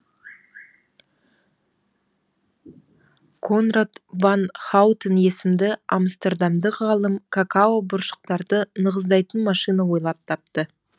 конрад ван хаутен есімді амстердамдық ғалым какао бұршақтарды нығыздайтын машина ойлап тапты